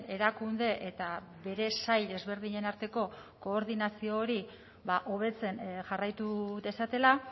erakunde eta bere sail ezberdinen arteko koordinazio hori hobetzen jarraitu dezatela